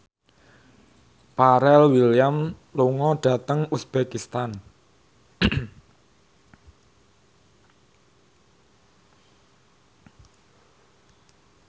Pharrell Williams lunga dhateng uzbekistan